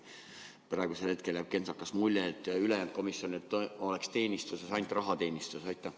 Praegusel hetkel võib jääda kentsakas mulje, et ülejäänud komisjonidel oleks ainult rahateenistus.